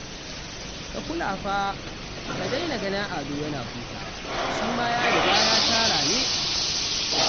Ka kula fa, ka daina ganin Ado yana hutawa, shi ma ya riga ya tara ne